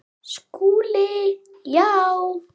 SKÚLI: Já!